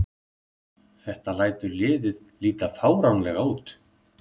Þetta lætur liðið líta fáránlega út